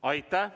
Aitäh!